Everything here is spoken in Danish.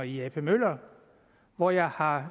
i ap møller hvor jeg har